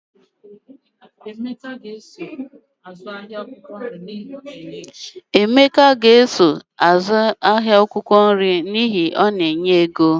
Emeka ga-esonye n'ahịa akwụkwọ nri n'ihi na ọ na-enye ego